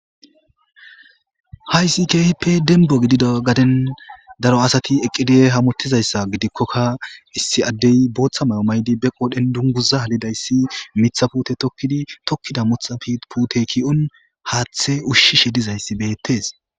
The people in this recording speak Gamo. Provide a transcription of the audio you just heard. Hayssi keehippe demba gidida gaden daro asati eqqidi hamutizayssa gidikkoka issi addey bootha mayo mayidi be qoodhen dunguza halidayssi miththa puute tokkidi tokkida miththa puute ki'on haathe ushishe dizay beetes.